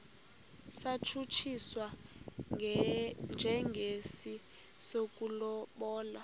satshutshiswa njengesi sokulobola